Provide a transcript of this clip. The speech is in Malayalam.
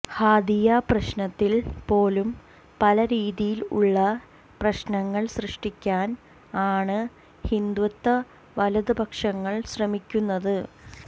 ഹാദിയ പ്രശ്നത്തിൽ പോലും പല രീതിയിൽ ഉള്ള പ്രശ്നങ്ങൾ സൃഷ്ടിക്കാൻ ആണ് ഹിന്ദുത്വ വലത്പക്ഷങ്ങൾ ശ്രമിക്കുന്നത്